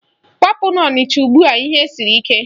Kwapụ n'Ọnịcha ugbua ihe siri ike!